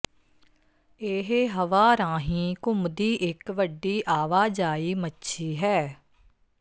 ਇਹ ਹਵਾ ਰਾਹੀਂ ਘੁੰਮਦੀ ਇੱਕ ਵੱਡੀ ਆਵਾਜਾਈ ਮੱਛੀ ਹੈ